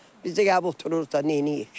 Biz də ya otururuq da neyləyək?